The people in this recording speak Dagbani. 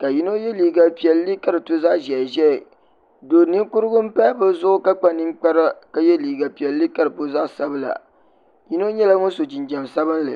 ka yino ye liiga piɛlli ka di to zaɣa ʒehiʒehi do ninkurigu n pahi bɛ zuɣu ka kpa ninkpara ye liiga piɛlli boogi zaɣa sabla yino nyɛla ŋun so jinjiɛm sabinli.